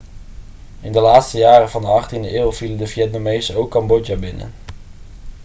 in de laatste jaren van de 18e eeuw vielen de vietnamezen ook cambodja binnen